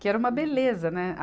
que era uma beleza, né?